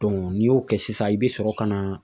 n'i y'o kɛ sisan i bɛ sɔrɔ ka na